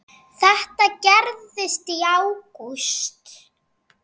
Þetta gerðist í ágúst.